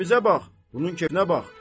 Bizim kefimizə bax, bunun kefinə bax.